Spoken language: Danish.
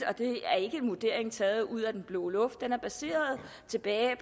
og det er ikke en vurdering taget ud af den blå luft den er baseret